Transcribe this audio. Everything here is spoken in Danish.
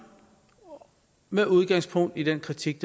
med udgangspunkt i den kritik